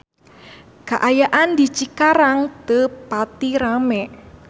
Kaayaan di Cikarang teu pati rame